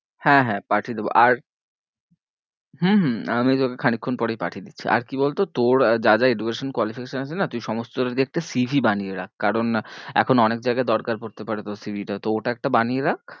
হ্যাঁ হ্যাঁ পাঠিয়ে দেব আর হম হম আমি তোকে খানিক্ষন পরেই পাঠিয়ে দিচ্ছি আর কি বলতো তোর যা যা education qualification আছে না তুই সমস্তটা দিয়ে একটা C. V. বানিয়ে রাখ কারণ এখন অনেক জায়গায় দরকার পড়তে পারে তোর C. V. টা তো ওটা একটা বানিয়ে রাখ